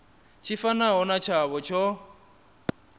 tshi fanaho na tshavho tsho